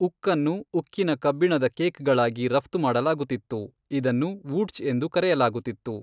ಉಕ್ಕನ್ನು, ಉಕ್ಕಿನ ಕಬ್ಬಿಣದ ಕೇಕ್ಗಳಾಗಿ ರಫ್ತು ಮಾಡಲಾಗುತ್ತಿತ್ತು, ಇದನ್ನು ವೂಟ್ಜ್ ಎಂದು ಕರೆಯಲಾಗುತ್ತಿತ್ತು.